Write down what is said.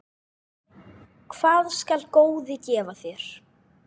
Hvað skal góði gefa þér?